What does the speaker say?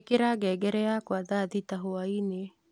ĩikira ngengere yakwa ya Thaa thita hwaĩ-inĩ